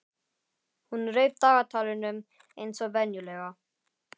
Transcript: Hún reif af dagatalinu eins og venjulega.